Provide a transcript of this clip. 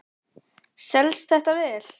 Kristján: Selst þetta vel?